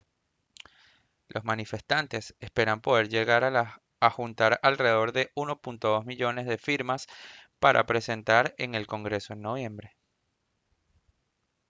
los manifestantes esperan poder llegar a juntar alrededor de 1,2 millones de firmas para presentar en el congreso en noviembre